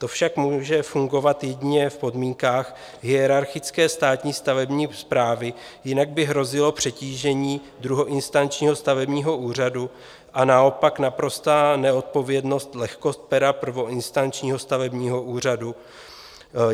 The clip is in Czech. To však může fungovat jedině v podmínkách hierarchické státní stavební správy, jinak by hrozilo přetížení druhoinstančního stavebního úřadu a naopak naprostá neodpovědnost, lehkost pera prvoinstančního stavebního úřadu.